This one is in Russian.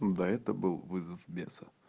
да это был вызов беса